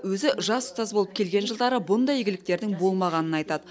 өзі жас ұстаз болып келген жылдары бұндай игіліктердің болмағанын айтады